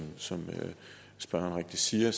som spørgeren rigtigt siger